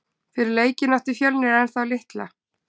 Fyrir leikinn átti Fjölnir ennþá litla.